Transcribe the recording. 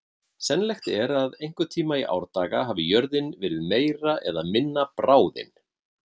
Sennilegt er að einhvern tíma í árdaga hafi jörðin verið meira eða minna bráðin.